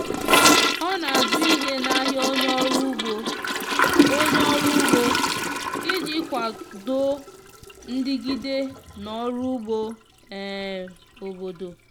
ọ na azụ ihe na ahia onye ọrụ ụgbo onye ọrụ ụgbo iji kwado ndigide na ọrụ ụgbọ um obodo.